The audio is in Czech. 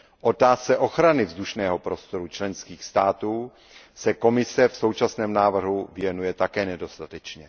Otázce ochrany vzdušného prostoru členských států se Evropská komise v současném návrhu věnuje také nedostatečně.